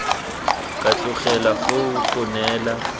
ka tlogelwa foo go neela